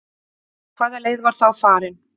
Hvaða leið var þá farin?